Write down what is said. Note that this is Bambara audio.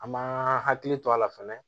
An ma hakili to a la fɛnɛ